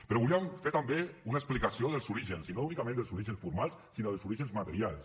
però volíem fer també una explicació dels orígens i no únicament dels orígens formals sinó dels orígens materials